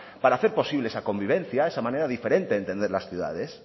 para hacer posible esa convivencia esa manera diferente de entender las ciudades